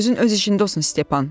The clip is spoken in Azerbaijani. Gözün öz işində olsun Stepan.